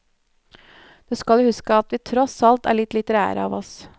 Du skal jo huske at vi tross alt er litt litterære av oss.